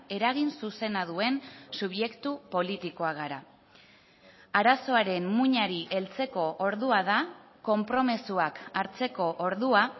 eragin zuzena duen subjektu politikoak gara arazoaren muinari heltzeko ordua da konpromisoak hartzeko ordua